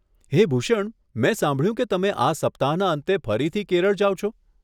હે ભૂષણ, મેં સાંભળ્યું કે તમે આ સપ્તાહના અંતે ફરીથી કેરળ જાવ છો?